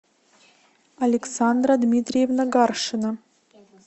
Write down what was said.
александра дмитриевна гаршина